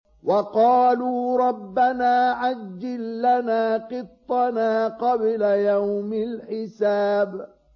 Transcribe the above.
وَقَالُوا رَبَّنَا عَجِّل لَّنَا قِطَّنَا قَبْلَ يَوْمِ الْحِسَابِ